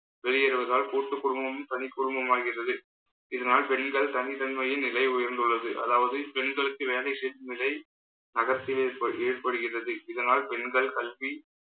வெளியேறுவதால் கூட்டுக்குடும்பமும், தனிக்குடும்பமாகின்றது இதனால் பெண்கள் தனித்தன்மையின் நிலை உயர்ந்துள்ளது. அதாவது பெண்களுக்கு வேலை செய்யும் நிலை நகரத்தில் ஏற்ப~ ஏற்படுகிறது. இதனால் பெண்கள் கல்வி